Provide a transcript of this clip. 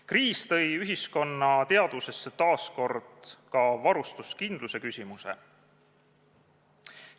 Kriis tõi ühiskonna teadvusesse taas kord ka varustuskindluse küsimuse.